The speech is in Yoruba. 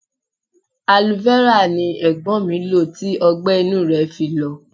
Aloe-vera ni Ẹ̀gbọ́n mi lo tí ọgbẹ-inú rẹ fi lọ.